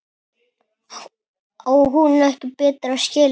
Á hún ekki betra skilið?